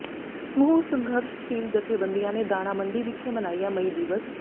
ਸਮੂਹ ਸੰਘਰਸ਼ਸ਼ੀਲ ਜਥੇਬੰਦੀਆਂ ਨੇ ਦਾਣਾ ਮੰਡੀ ਵਿਖੇ ਮਨਾਇਆ ਮਈ ਦਿਵਸ